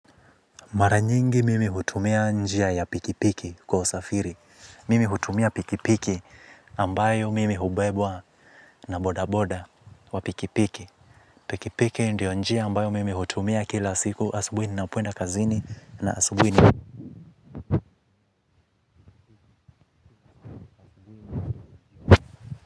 Mara nyingi mimi hutumia njia ya pikipiki kwa usafiri. Mimi hutumia pikipiki ambayo mimi hubebwa na bodaboda wa pikipiki. Pikipiki ndio njia ambayo mimi hutumia kila siku asubuini na puenda kazini na asubui.